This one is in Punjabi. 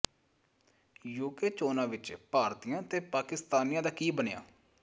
ਯੂਕੇ ਚੋਣਾਂ ਵਿੱਚ ਭਾਰਤੀਆਂ ਤੇ ਪਾਕਿਸਤਾਨੀਆਂ ਦਾ ਕੀ ਬਣਿਆ